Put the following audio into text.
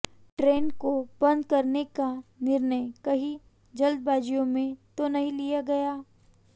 train को बंद करने का निर्णय कहीं जल्दबाजी में तो नहीं लिया गया